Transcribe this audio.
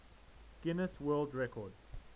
guinness world record